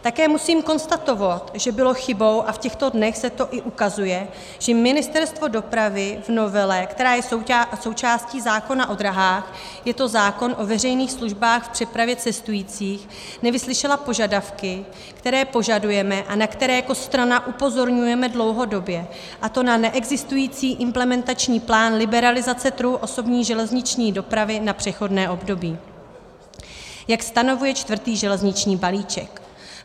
Také musím konstatovat, že bylo chybou, a v těchto dnech se to i ukazuje, že Ministerstvo dopravy v novele, která je součástí zákona o dráhách, je to zákon o veřejných službách v přepravě cestujících, nevyslyšelo požadavky, které požadujeme a na které jako strana upozorňujeme dlouhodobě, a to na neexistující implementační plán liberalizace trhu osobní železniční dopravy na přechodné období, jak stanovuje čtvrtý železniční balíček.